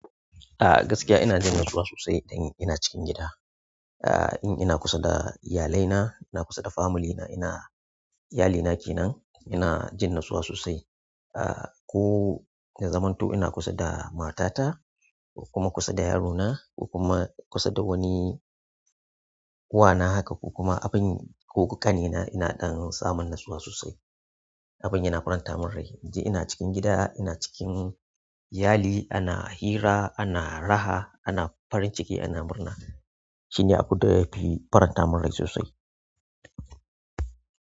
Ah gaskiya ina jin natsuwa sosai idan ina cikin gida. Ah in ina kusa da iyalaina, ina kusa da familyna, ina-- iyali nake nan ina jin natsuwa sosai. Ah ko na yazamanto ina kusa da matata kuma kusa da yarona ko kuma kusa da wani wana haka ko kuma abin ko ƙane na ina ɗan samun natsuwa sosai. Abin yana faranta min rai. Idan ina cikin gida, ina cikin iyali ana hira, ana raha, ana farin ciki, ana murna shine abin da ke faranta min rai sosai.